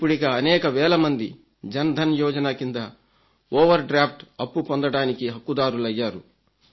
ఇప్పుడిక అనేక వేల మంది జన్ ధన్ యోజన కింద ఓవర్ డ్రాఫ్ట్ అప్పు పొందడానికి హక్కుదారులయ్యారు